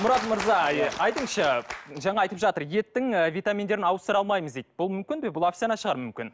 мұрат мырза айтыңызшы жаңа айтып жатыр еттің ы витаминдерін ауыстыра алмаймыз дейді бұл мүмкін бе бұл әфсәнә шығар мүмкін